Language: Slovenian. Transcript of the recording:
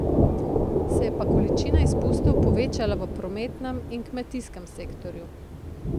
Se je pa količina izpustov povečala v prometnem in kmetijskem sektorju.